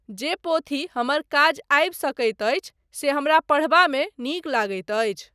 जे पोथी हमर काज आबि सकैत अछि से हमरा पढ़बामे नीक लगैत अछि।